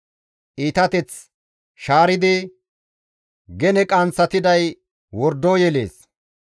Iitateth shaaridi, gene qanththatiday wordo yelees.